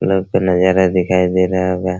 लोग के नजारा दिखाई दे रहा होगा।